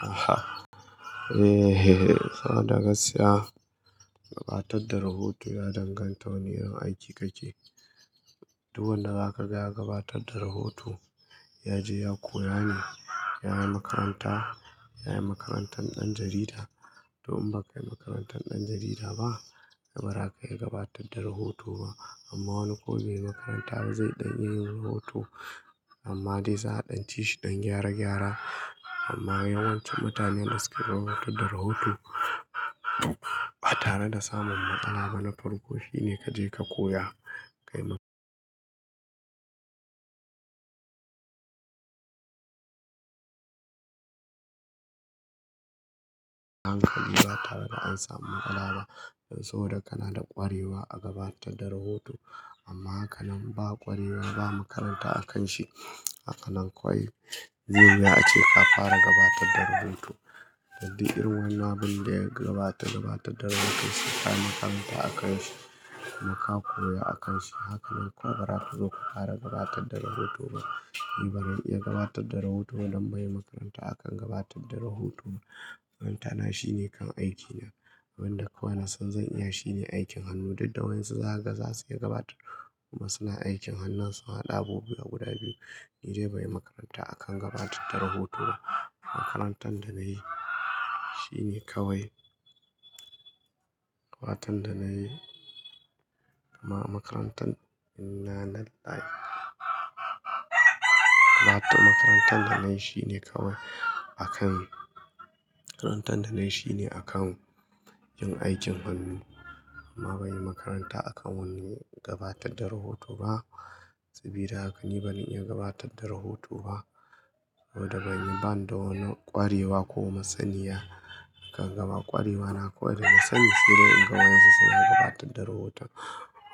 Aha! Eh, eh, eh. Saboda gaskiya gabatar da rahoto ya danganta wane irin aiki kake. Duk wanda zakaga ya gabatar da rahoto ya je ya koya ne. Ya yi makaranta, ya yi makarantar ɗan jarida. To in baka yi makarantar ɗan jarida ba, to bara ka iya gabatar da rahoto ba. Amma wani ko bai yi makaranta ba zai ɗan iya yin rahoto amma dai za a ɗanci shi ɗan gyara gyara. Amma yawanci mutanen da suke gabatar da rahoto ba tare da samun matsala ba na farko shine kaje ka koya. Kai ma hankali ba tare da an samu matsala ba. Dan so da kana da ƙwarewa a gabatar da rahoto amma hakanan ba ƙwarewa ba makaranta a kan shi. Hakanan kawai yanzu ya a ce ka fara gabatar da rubutu. Dan duk irin wannan abin da ya gabata gabatar da rahoto sai ka yi makaranta a kan shi kuma ka koya a kan shi. Hakanan kuwa bara ka zo ka fara gabatar da rahoto ba. Ni bazan iya gabatar da rahoto ba don banyi makaranta a kan gabatar da rahoto ba. Makarantana shine kan aikina. Abin da kawai na san zan iya shine aikin hannu. Duka wayonsu za su iya gabatar kuma suna aikin hannunsu. Haɗa abubuwa guda biyu ni dai banyi makaranta a kan gabatar da rahoto ba. Makarantar da na yi shine kawai. Makarantar da na yi amma makarantan ina naɗa. Makarantar da na yi shine kawai a kan. Makarantar da nayi shine akan yin aikin hannu amma ban yi makaranta a kan wanne gabatar da rahoto ba. Sabida haka ni bani iya gabatar da rahoto ba. Saboda ban da wani ƙwarewa ko masaniya kan gaba. Ƙwarewa na kuwa da masani sai dai in ga wayonsu suna gabatar da rahoton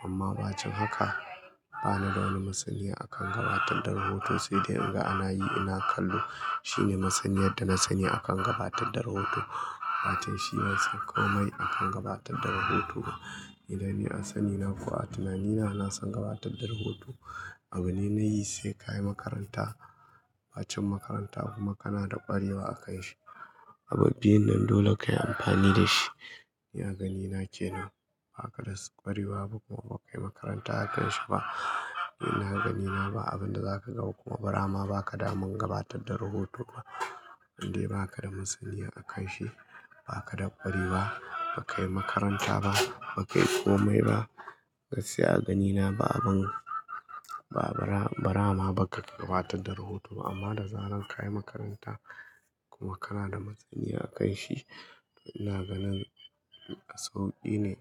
amma ba cin haka. Bana da wani masaniya a kan gabatar da rahoto sai dai in ga ana yi ina kallo. Shine masaniyar da na sani akan gabatar da rahoto. Wato shi bansan komai akan gabatar da rahoto ba. Dan ni a sani na ko a tunani na, na san gabatar da rahoto. Abin da nayi sai ka yi makaranta. Ba cin makaranta kuma kana da ƙwarewa a kai shi. Abin biyun nan dole kayi amfani da shi. Ni a ganina kenan ba ka da ƙwarewa ba kuma ba ka yi makaranta a kan shi ba. Ni na ganina ba abin da za ka ga kuma bara ma ba ka da man gabatar da rahoto ba. Dan dai ba ka da masaniya a kan shi. Ba ka da ƙwarewa ba, ba ka yi makaranta ba, ba ka yi komai ba. Gaskiya a ganina ba abin, ba bara, bara ma ba ka iya gabatar da rahoto ba amma da zaran ka yi makaranta kuma kana da masaniya a kan shi. Ina ganin sauki ne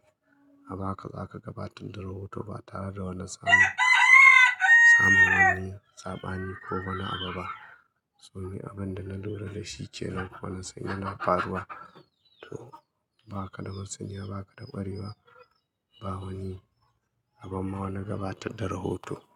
a baka za ka gabatar da rahoto ba tare da wani samun, samun wani sabani ko wani abu ba. So ni abunda na lura dashi ke nan kuma na san ya na faruwa. To ba ka da masaniya, ba ka da ƙwarewa ba wani abu ma wane gabatar da rahoto.